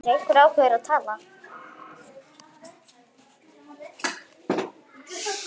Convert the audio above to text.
Sindri: Einhver ákveðin tala?